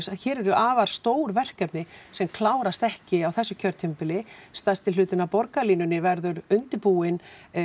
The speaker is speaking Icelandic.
hér eru afar stór verkefni sem klárast ekki á þessu kjörtímabili stærsti hlutinn af borgarlínunni verður undirbúinn